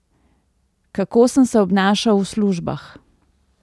Kako sem se obnašal v službah?